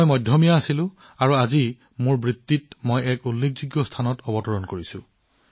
মই মধ্যমীয়া আছিলোঁ আৰু আজি মই মোৰ কেৰিয়াৰৰ কঠিন মাইলৰ খুঁটিত উপনীত হৈছো